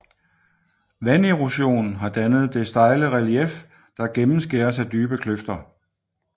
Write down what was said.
Vanderosion har dannet det stejle relief der gennemskæres af dybe kløfter